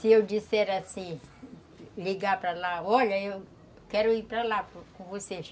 Se eu disser assim, ligar para lá, olha, eu quero ir para lá com vocês.